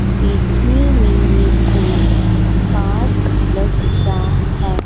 देखने में ये कोई पार्क लग रहा है।